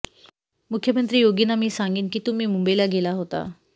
मुख्यमंत्री योगींना मी सांगेन की तुम्ही मुंबईला गेला होता